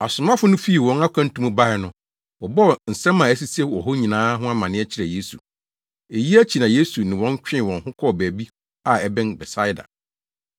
Asomafo no fii wɔn akwantu mu bae no, wɔbɔɔ nsɛm a esisii wɔ hɔ nyinaa ho amanneɛ kyerɛɛ Yesu. Eyi akyi na Yesu ne wɔn twee wɔn ho kɔɔ baabi a ɛbɛn Betsaida.